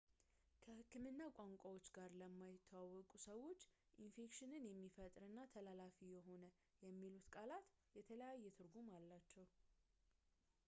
ከህክምና ቋንቋዎች ጋር ለማይተዋወቁ ሰዎች ኢንፌክሽን የሚፈጥርና ተላላፊ የሆነ የሚሉት ቃላት የተለየ ትርጉም አላቸው